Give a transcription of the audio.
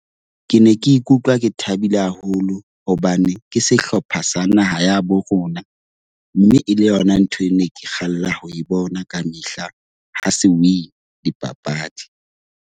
Ke ne ke ikutlwa ke thabile haholo hobane ke sehlopha sa naha ya habo rona. Mme e le yona ntho e ne ke kgalla ho e bona kamehla ha se win-a dipapadi.